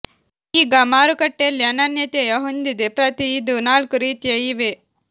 ಈಗ ಮಾರುಕಟ್ಟೆಯಲ್ಲಿ ಅನನ್ಯತೆಯ ಹೊಂದಿದೆ ಪ್ರತಿ ಇದು ನಾಲ್ಕು ರೀತಿಯ ಇವೆ